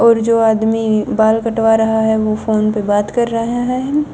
और जो आदमी बाल कटवा रहा है वो फोन पर बात कर रहा है।